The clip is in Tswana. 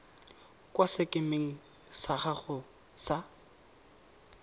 kwa sekemeng sa gago sa